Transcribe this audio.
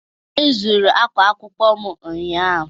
E zuru ákwá akwụkwọ m ụnyahụ.